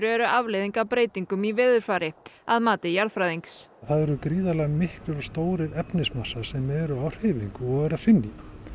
eru afleiðing af breytingum í veðurfari að mati jarðfræðings það eru gríðarlega miklir og stórir sem eru á hreyfingu og eru að hrynja